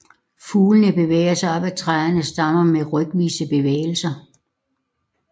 Fuglene bevæger sig op ad træernes stammer med rykvise bevægelser